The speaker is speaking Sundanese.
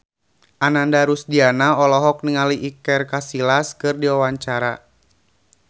Ananda Rusdiana olohok ningali Iker Casillas keur diwawancara